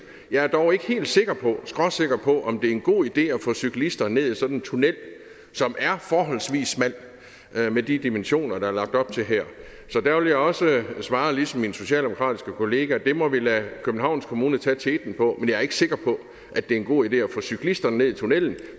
jeg er dog ikke helt sikker på skråsikker på om det er en god idé at få cyklister ned i sådan en tunnel som er forholdsvis smal med de dimensioner der er lagt op til her så der vil jeg også svare ligesom min socialdemokratiske kollega det må vi lade københavns kommune tage teten på men jeg er ikke sikker på at det er en god idé at få cyklisterne ned i tunnelen